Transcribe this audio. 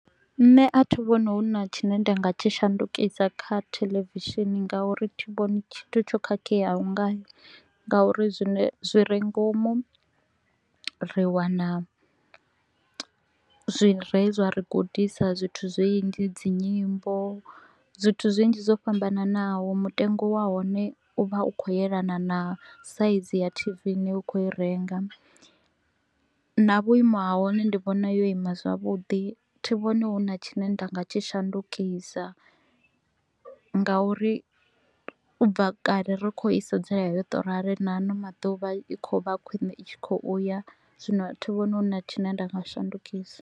Nṋe a thi vhoni hu na tshine nda nga tshi shandukisa kha theḽevishini nga uri thi vhoni tshithu tsho khakheaho ngayo nga uri zwi re ngomu ri wana zwine zwa ri gudisa zwithu zwinzhi, dzi nyimbo, zwithu zwinzhi zwo fhambananaho. Mutengo wa hone u vha u kho u elana na saizi ya t-v i ne u kho u i renga na vhuimo ha hone ndi vhona yo ima zwavhuḓi. Thi vhoni huna tshine nda nga tshi shandukisa nga uri u bva kale ri kho u i sedzela yo to u rali na a no maḓuvha i kho u vha khwine, i tshi kho u ya, zwino thi vhoni hu na tshine nda nga shandukisa.